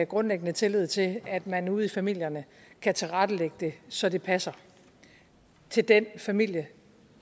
grundlæggende tillid til at man ude i familierne kan tilrettelægge det så det passer til den familie